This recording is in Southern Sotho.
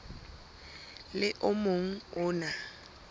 le o mong o na